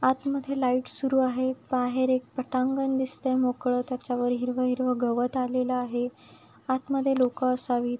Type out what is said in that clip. आतमध्ये लाइट सुरू आहे बाहेर एक पटांगण दिसतंय मोकळ त्याच्यावर हिरव हिरव गवत आलेल आहे आत मध्ये लोक असावीत.